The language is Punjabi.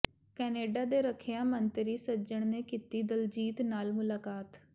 ਕੈਨੇਡਾ ਦੇ ਰੱਖਿਆ ਮੰਤਰੀ ਸੱਜਣ ਨੇ ਕੀਤੀ ਦਿਲਜੀਤ ਨਾਲ ਮੁਲਾਕਾਤ